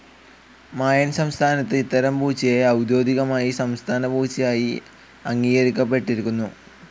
മായൻ സംസ്ഥാനത്ത് ഇത്തരം പൂച്ചയെ ഔദ്യോഗികമായി സംസ്ഥാന പൂച്ചയായി അംഗീകരിക്കപ്പെട്ടിരിക്കുന്നു.